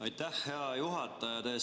Aitäh, hea juhataja!